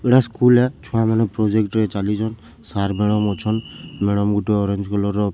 ଇଟା ସ୍କୁଲ୍‌ ରେ ଛୁଆ ମାନେ ପ୍ରୋଜେକ୍ଟ୍ ରେ ଚାଲିଛନ୍ ସାର୍ ମାଡାମ୍‌ ଅଛନ୍ ମାଡାମ୍ ଗୁଟେ ଅରେଞ୍ଜ କଲର୍ ର ଶାଢି ପି--